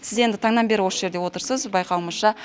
сіз енді таңнан бері осы жерде отырсыз байқауымызша